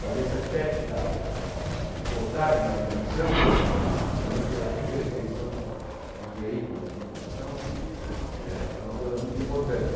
Mas esse aspecto da da da de forçar a imaginação, justamente pela imperfeição dos veículos de comunicação, eh é uma coisa muito importante.